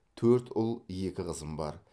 төрт ұл екі қызым бар